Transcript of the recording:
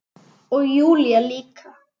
Og Júlía líka.